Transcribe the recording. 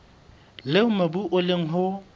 leo mobu o leng ho